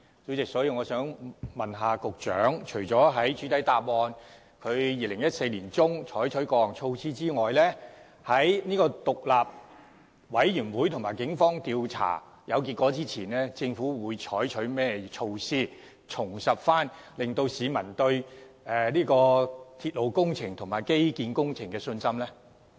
主席，我想問局長，除了主體答覆指出在2014年年中採取過措施外，在獨立調查委員會及警方調查有結果前，政府會採取甚麼措施，重拾市民對鐵路工程及基建工程的信心呢？